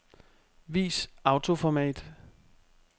Vis autoformat.